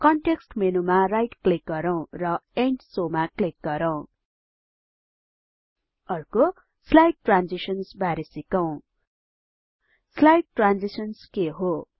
context मेनूमा right click गरौँ र इन्ड शोव मा क्लिक गरौँ अर्को स्लाइड ट्रान्जिशन्स बारे सिकौं स्लाइड ट्रान्जिशन्स के हो